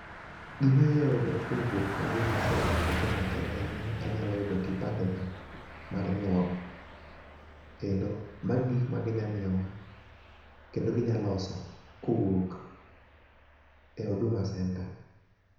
gima nya yudo kowuok e huduma center e kenya ka en ni anyalo yudo kipande na mar nyuol, kendo magi e gik magi nya miyo wa kendo ginya loso kowuok e huduma center.